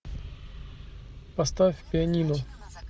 поставь пианино